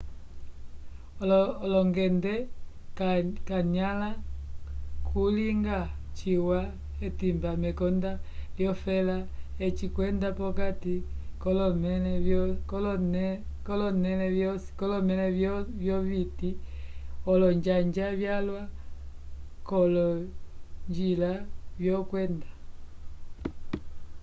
olongende kanyãla kulinga ciwa k'etimba mekonda lyofela eci wenda p'okati k'olomẽla vyoviti olonjanja vyalwa k'olonjila vyokwenda